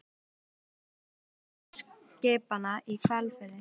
Í útvarpinu var sagt frá löndun síldveiðiskipanna í Hvalfirði.